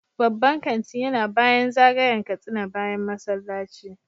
Babban kanti yana bayan zagayen Katsina bayan masallaci